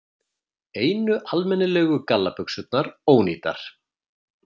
Einu almennilegu gallabuxurnar ónýtar.